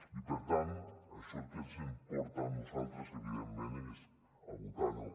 i per tant això al que ens porta a nosaltres evidentment és a votar no